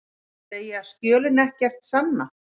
Segja skjölin ekkert sanna